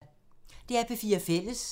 DR P4 Fælles